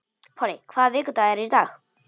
Polly, hvaða vikudagur er í dag?